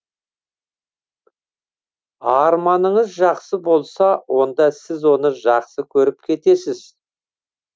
арманыныз жақсы болса онда сіз оны жақсы көріп кетесіз